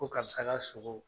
Ko karisa ka sogo.